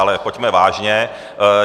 Ale pojďme vážně.